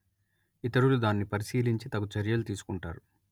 ఇతరులు దాన్ని పరిశీలించి తగు చర్యలు తీసుకుంటారు